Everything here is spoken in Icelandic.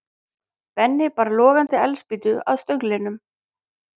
Benni bar logandi eldspýtu að stönglinum.